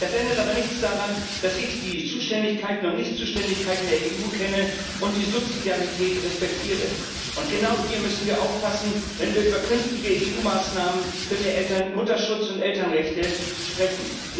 Das ändert aber nichts daran, dass ich die Zuständigkeiten und Nichtzuständigkeiten der EU kenne und die Subsidiarität respektiere. Genau hier müssen wir aufpassen, wenn wir über künftige EU Maßnahmen für mehr Mutterschutz und Elternrechte sprechen.